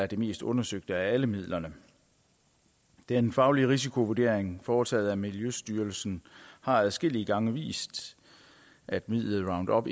det mest undersøgte af alle midlerne den faglige risikovurdering foretaget af miljøstyrelsen har adskillige gange vist at midlet roundup